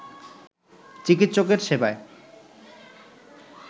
চিকিৎসকের সেবায়